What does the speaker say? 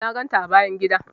Na ganta a bayan gida.